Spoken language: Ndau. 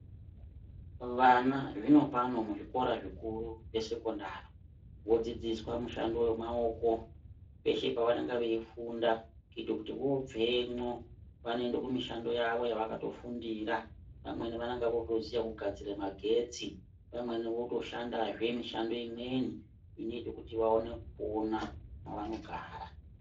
Vana zvinopano muzvikora zvikuru zvemasekondari vodzidziswa mushando yemaoko peshe pavanenge veifunda kuite kuti vobvemwo vanoende kumushando yavo yavanenge vakatofundira vamweni votiziye kugadzira magetsi vamweni votoshandazve mishando imweni inoite kuti vakone kupona mwavanogara.